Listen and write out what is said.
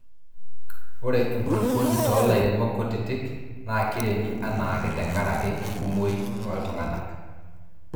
ore enkulupuoni too lairemok kutitik naa kiremi anaake te nkarak enkumoi oltunganak